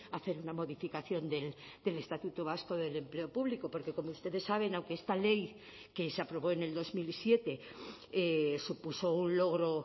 a hacer una modificación del estatuto vasco del empleo público porque como ustedes saben aunque esta ley que se aprobó en el dos mil siete supuso un logro